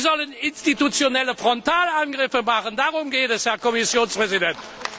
Sie sollen institutionelle Frontalangriffe machen, darum geht es, Herr Kommissionspräsident!